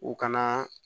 U ka